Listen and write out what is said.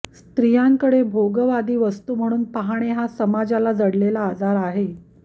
स्त्रियांकडे भोगवादी वस्तू म्हणून पाहणे हा समाजाला जडलेला आजार आहे